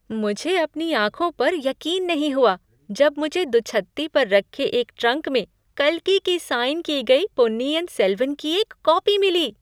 मुझे अपनी आँखों पर यकीन नहीं हुआ जब मुझे दुछत्ती पर रखे एक ट्रंक में कल्कि की साइन की गई पोन्नियिन सेल्वन की एक कॉपी मिली!